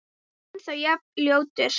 Ennþá jafn ljótur.